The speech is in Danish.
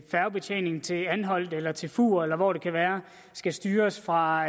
færgebetjeningen til anholt eller til fur eller hvor det nu kan være skal styres fra